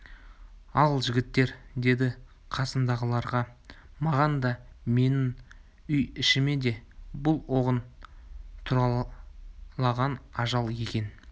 ал жігіттер деді қасындағыларға маған да менің үй-ішіме де бұл оғын туралаған ажал екен